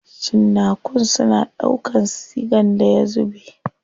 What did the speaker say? Cinnakun suna ɗaukan sigan da ya zube.